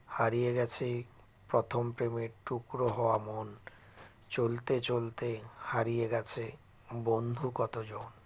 হারিয়ে গেছে প্রথম প্রেমের টুকরো হওয়া মন চলতে চলতে হারিয়ে গেছে বন্ধু কতজন